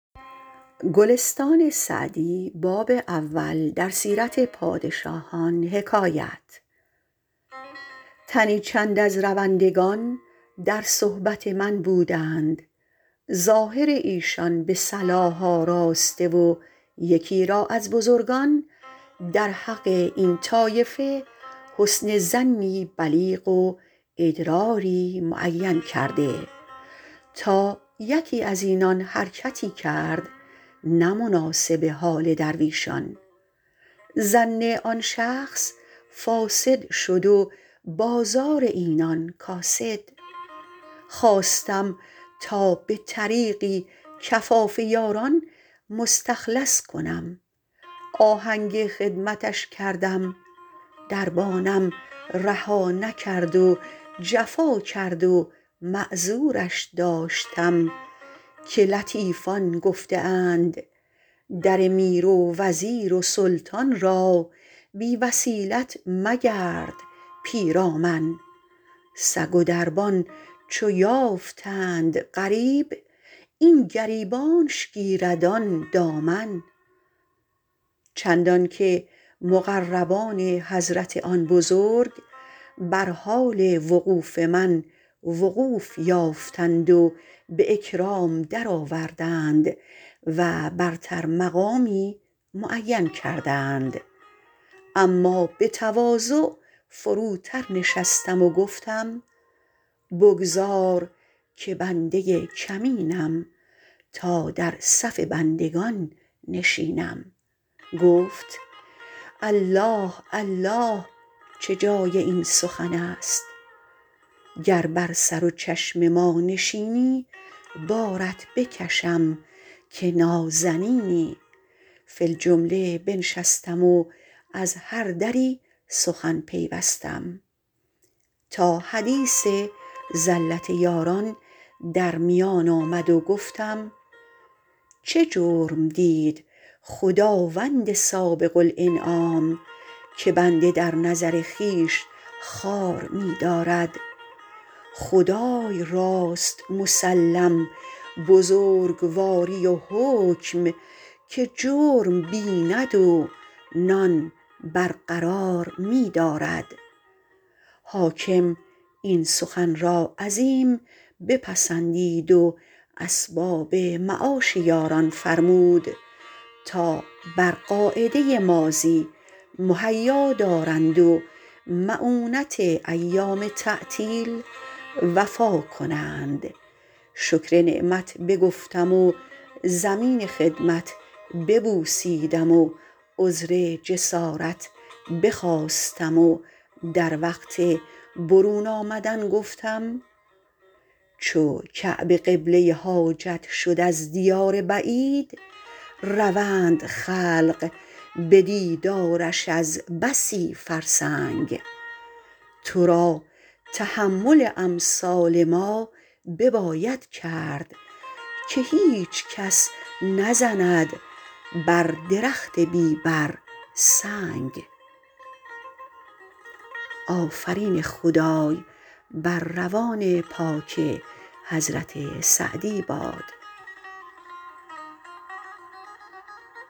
تنی چند از روندگان در صحبت من بودند ظاهر ایشان به صلاح آراسته و یکی را از بزرگان در حق این طایفه حسن ظنی بلیغ و ادراری معین کرده تا یکی از اینان حرکتی کرد نه مناسب حال درویشان ظن آن شخص فاسد شد و بازار اینان کاسد خواستم تا به طریقی کفاف یاران مستخلص کنم آهنگ خدمتش کردم دربانم رها نکرد و جفا کرد و معذورش داشتم که لطیفان گفته اند در میر و وزیر و سلطان را بی وسیلت مگرد پیرامن سگ و دربان چو یافتند غریب این گریبانش گیرد آن دامن چندان که مقربان حضرت آن بزرگ بر حال وقوف من وقوف یافتند و به اکرام درآوردند و برتر مقامی معین کردند اما به تواضع فروتر نشستم و گفتم بگذار که بنده کمینم تا در صف بندگان نشینم گفت الله الله چه جای این سخن است گر بر سر و چشم ما نشینی بارت بکشم که نازنینی فی الجمله بنشستم و از هر دری سخن پیوستم تا حدیث زلت یاران در میان آمد و گفتم چه جرم دید خداوند سابق الانعام که بنده در نظر خویش خوار می دارد خدای راست مسلم بزرگواری و حکم که جرم بیند و نان برقرار می دارد حاکم این سخن را عظیم بپسندید و اسباب معاش یاران فرمود تا بر قاعده ماضی مهیا دارند و مؤونت ایام تعطیل وفا کنند شکر نعمت بگفتم و زمین خدمت ببوسیدم و عذر جسارت بخواستم و در وقت برون آمدن گفتم چو کعبه قبله حاجت شد از دیار بعید روند خلق به دیدارش از بسی فرسنگ تو را تحمل امثال ما بباید کرد که هیچ کس نزند بر درخت بی بر سنگ